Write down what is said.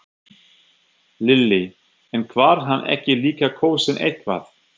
Lillý: En var hann ekki líka kosinn eitthvað?